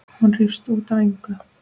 Hún rífst út af engu.